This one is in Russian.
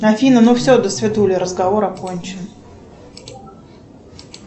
афина ну все досвидули разговор окончен